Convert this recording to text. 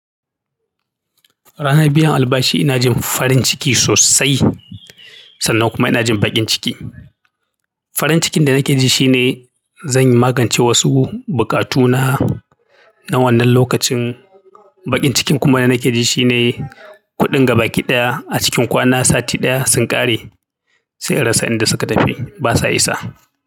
Ranan biyan albashi ina jin farin ciki sosai sannan kuma ina jin baƙin ciki farin cikin da nake ji shi ne zan magance wasu bukatuna na wannan lokacin. Baƙin cikin kuma da nake ji shine kuɗin gaba ki ɗaya a cikin kwana sati ɗaya sun ƙare sai in rasa inda suka tafi basa isa.